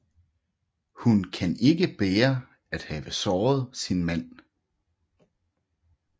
Hun kan ikke bære at have såret sin mand